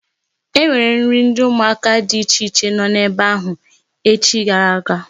E nwere nri ụmụaka dị iche iche nọ ebe ahụ echi gara aga.